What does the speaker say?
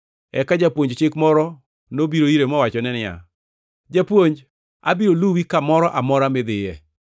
Eka japuonj chik nobiro ire mowachone niya, “Japuonj, abiro luwi kamoro amora midhiye.”